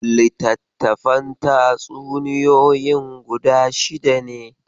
Littattafan tatsuniyoyin guda shida ne.